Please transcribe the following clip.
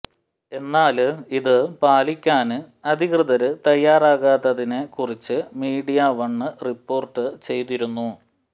എന്നാല് ഇതു പാലിക്കാന് അധികൃതര് തയ്യാറാകാത്തതിനെ കുറിച്ച് മീഡിയവണ് റിപ്പോര്ട്ട് ചെയ്തിരുന്നു